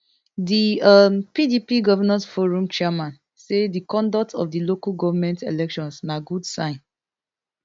di um pdp govnors forum chairman say di conduct of di local goment elections na good sign